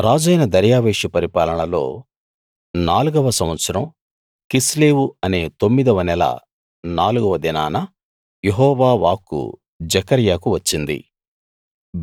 రాజైన దర్యావేషు పరిపాలనలో నాలుగవ సంవత్సరం కిస్లేవు అనే తొమ్మిదవ నెల నాలుగవ దినాన యెహోవా వాక్కు జెకర్యాకు వచ్చింది